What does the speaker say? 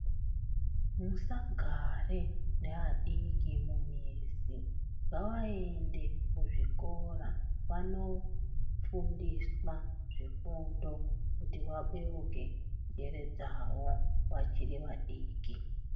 Musagare nevadiki mumizi, ngavaende kuzvikora vandofundiswa zvifundo kuti vabeuke njere dzavo vachiri vadiki.